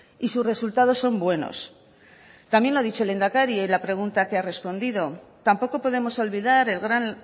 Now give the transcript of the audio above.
y sus resultados son buenos también lo ha dicho el lehendakari en la pregunta que ha respondido tampoco podemos olvidar el gran